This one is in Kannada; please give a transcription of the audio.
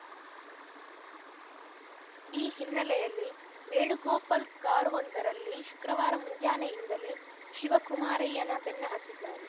ಈ ಹಿನ್ನೆಲೆಯಲ್ಲಿ ವೇಣುಗೋಪಾಲ್‌ ಕಾರವೊಂದರಲ್ಲಿ ಶುಕ್ರವಾರ ಮುಂಜಾನೆಯಿಂದಲೇ ಶಿವಕುಮಾರಯ್ಯನ ಬೆನ್ನತ್ತಿದ್ದಾರೆ